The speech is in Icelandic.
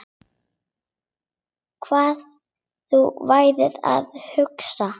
Hvað þú værir að hugsa.